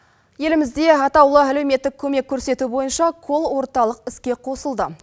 елімізде атаулы әлеуметтік көмек көрсету бойынша кол орталық іске қосылды